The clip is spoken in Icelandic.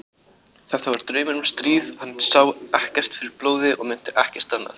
Þetta var draumur um stríð og hann sá ekkert fyrir blóði og mundi ekkert annað.